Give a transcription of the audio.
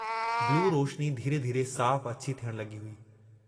बिलू रोशनी धीरे-धीरे साफ़ अछी थियण लगी हुई।